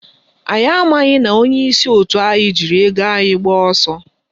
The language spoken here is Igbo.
Anyị amaghị na onyeisi òtù anyị jiri ego anyị gbaa ọsọ